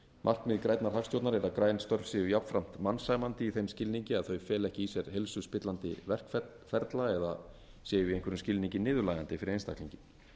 markmið grænnar hagstjórnar er að græn störf séu jafnframt mannsæmandi í þeim skilningi að þau feli ekki í sér heilsuspillandi verkferla eða séu í einhverjum skilningi niðurlægjandi fyrir einstaklinginn